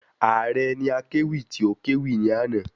Ààre ni akéwì tí o kẹ́wì ní àná